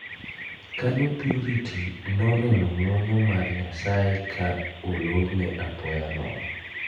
Kanyo Purity noneno ng'wono mar nyasaye ka olrne apoya nono.